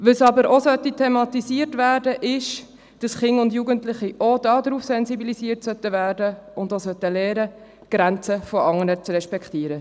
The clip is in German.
Was aber ebenfalls thematisiert werden sollte, ist, dass Kinder und Jugendliche auch dahingehend sensibilisiert werden und lernen sollten, die Grenzen von anderen zu respektieren.